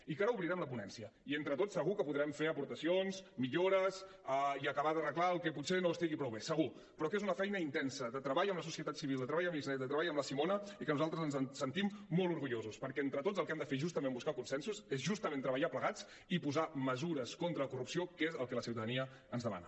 i que ara obrirem la ponència i entre tots segur que podrem fer aportacions millores i acabar d’arreglar el que potser no estigui prou bé segur però que és una feina intensa de treball amb la societat civil de treball amb xnet de treball amb la simona i que nosaltres ens en sentim molt orgullosos perquè entre tots el que hem de fer és justament buscar consensos és justament treballar plegats i posar mesures contra la corrupció que és el que la ciutadania ens demana